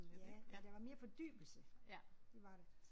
Ja ja der var mere fordybelse det var der